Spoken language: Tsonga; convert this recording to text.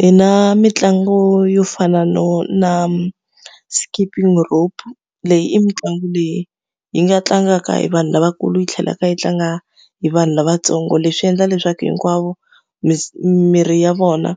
Hi na mitlangu yo fana no na skipping rope. Leyi i mitlangu leyi yi nga tlangaka hi vanhu lavakulu yi tlhela ka yi tlanga hi vanhu lavatsongo. Leswi endla leswaku hinkwavo miri ya vona